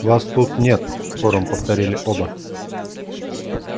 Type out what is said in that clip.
вас тут нет хором повторили оба